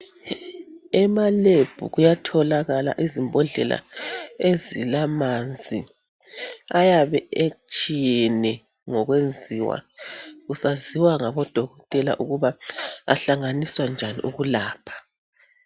Ema lab kuyatholakala izimbodlela ezilamanzi ayabe etshiyene ngokwenziwa kusaziwa ngabodokotela ukuba ahlanganiswa njani ukulapha.